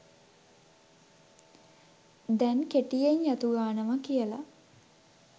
දැන් කෙටියෙන් යතු ගානවා කියල